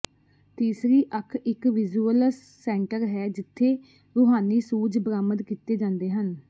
ਤੀਸਰੀ ਅੱਖ ਇੱਕ ਵਿਜ਼ੁਅਲਸ ਸੈਂਟਰ ਹੈ ਜਿੱਥੇ ਰੂਹਾਨੀ ਸੂਝ ਬਰਾਮਦ ਕੀਤੇ ਜਾਂਦੇ ਹਨ